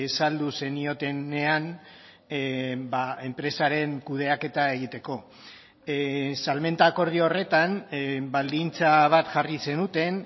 saldu zeniotenean enpresaren kudeaketa egiteko salmenta akordio horretan baldintza bat jarri zenuten